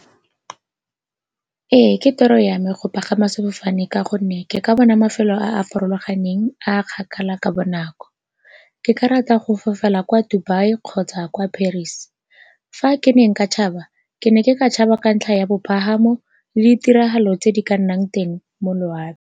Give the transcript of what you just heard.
Ee, ke toro ya me go pagama sefofane ka gonne ke ka bona mafelo a a farologaneng a a kgakala ka bonako. Ke ka rata go fofela kwa Dubai kgotsa kwa Paris. Fa ke ne nka tšhaba, ke ne ke ka tšhaba ka ntlha ya bopalamo le 'tiragalo tse di ka nnang teng mo loaping.